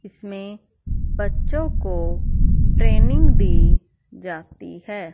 इसमें बच्चों को ट्रेनिंग दी जाती है।